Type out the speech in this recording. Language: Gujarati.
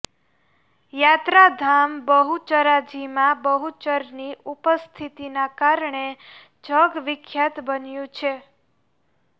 યાત્રાધામ બહુચરાજી મા બહુચરની ઉપસ્થિતિના કારણે જગવિખ્યાત બન્યું છે